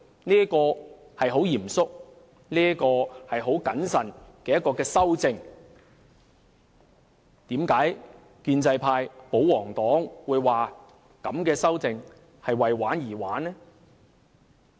這是很嚴肅、很謹慎的修正，為何建制派、保皇黨會說這樣的修訂是為玩而玩？